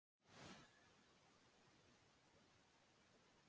En er þá allt í lagi með rannsóknina sem fram fór?